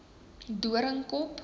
doringkop